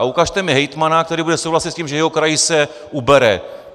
A ukažte mi hejtmana, který bude souhlasit s tím, že jeho kraji se ubere.